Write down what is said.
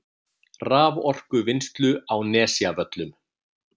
raforkuvinnslu á Nesjavöllum.